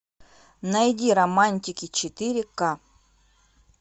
найди романтики четыре ка